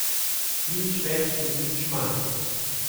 Nič več in nič manj.